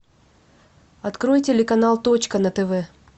открой телеканал точка на тв